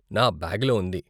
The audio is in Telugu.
నా బ్యాగులో ఉంది.